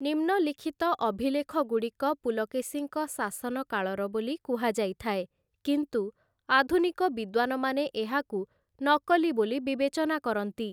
ନିମ୍ନଲିଖିତ ଅଭିଲେଖଗୁଡ଼ିକ ପୁଲକେଶୀଙ୍କ ଶାସନକାଳର ବୋଲି କୁହାଯାଇଥାଏ, କିନ୍ତୁ ଆଧୁନିକ ବିଦ୍ୱାନମାନେ ଏହାକୁ ନକଲି ବୋଲି ବିବେଚନା କରନ୍ତି ।